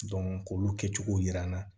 k'olu kɛcogo yira n na